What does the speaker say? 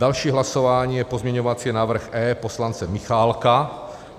Další hlasování je pozměňovací návrh E poslance Michálka.